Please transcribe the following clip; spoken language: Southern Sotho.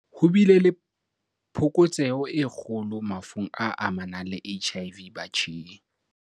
Ho bile le phokotseho e kgolo mafung a amanang le HIV batjheng.